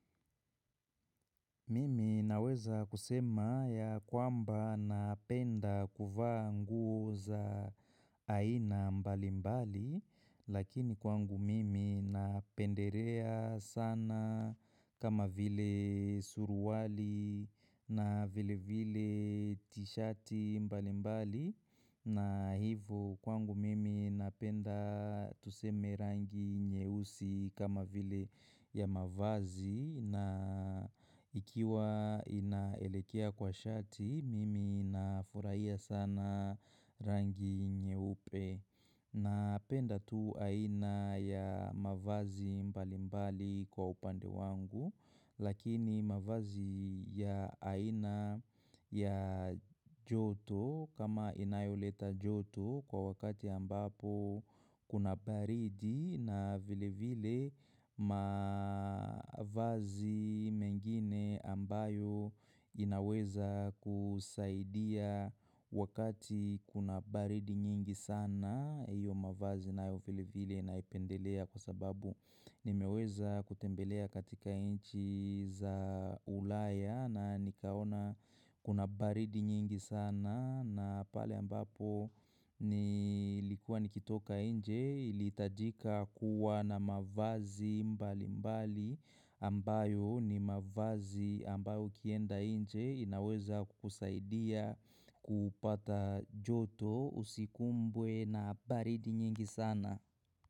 Mimi naweza kusema ya kwamba napenda kuvaa nguo za aina mbali mbali lakini kwangu mimi napendelea sana kama vile suruali na vile vile t-shirt mbali mbali. Na hivo kwangu mimi napenda tuseme rangi nyeusi kama vile ya mavazi na ikiwa inaelekea kwa shati mimi na furahia sana rangi nyeupe. Na penda tu aina ya mavazi mbali mbali kwa upande wangu lakini mavazi ya aina ya joto kama inayoleta joto kwa wakati ambapo kuna baridi na vile vile mavazi mengine ambayo inaweza kusaidia wakati kuna baridi nyingi sana. Hiyo mavazi nayo vile vile naipendelea kwa sababu nimeweza kutembelea katika nchi za ulaya na nikaona kuna baridi nyingi sana na pale ambapo nilikua nikitoka nje ilihitajika kuwa na mavazi mbali mbali ambayo ni mavazi ambayo ukienda nje inaweza kukusaidia kupata joto usikumbwe na baridi nyingi sana.